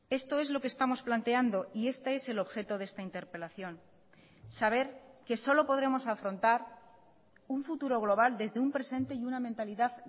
esto es lo que estamos planteando y este es el objeto de esta interpelación saber que solo podremos afrontar un futuro global desde un presente y una mentalidad